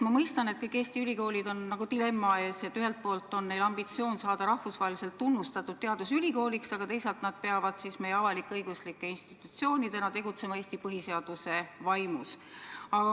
Ma mõistan, et kõik Eesti ülikoolid on nagu dilemma ees: ühelt poolt on neil ambitsioon saada rahvusvaheliselt tunnustatud teadusülikooliks, aga teisalt peavad nad avalik-õiguslike institutsioonidena tegutsema Eesti põhiseaduse vaimus.